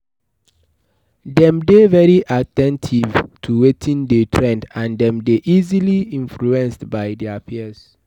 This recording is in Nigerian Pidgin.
dem dey very at ten tive to wetin de trend and dem dey easily influence by their peers